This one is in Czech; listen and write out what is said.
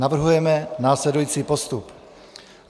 Navrhujeme následující postup: